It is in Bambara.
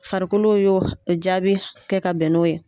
Farikolo y'o jaabi kɛ ka bɛn n'o ye.